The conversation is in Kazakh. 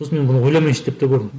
сосын мен бұны ойламайыншы деп те көрдім